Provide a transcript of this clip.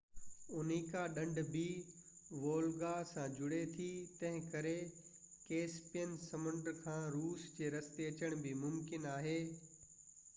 Onega ڍنڍ بہ Volga سان جڙي ٿي تنهنڪري ڪيسپيئن سمنڊ کان روس جي رستي اچڻ بہ ممڪن آهي